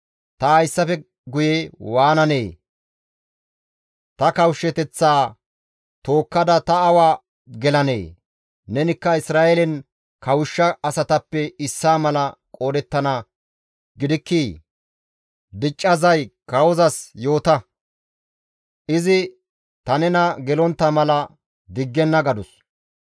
Ta hayssafe guye waananee? Ta kawushshateththaa tookkada ta awa gelanee? Nenikka Isra7eelen kawushsha asatappe issaa mala qoodettana gidikkii? Dicca zay kawozas yoota; izi ta nena gelontta mala diggenna» gadus.